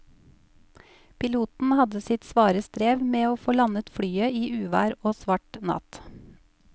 Piloten hadde sitt svare strev med å få landet flyet i uvær og svart natt.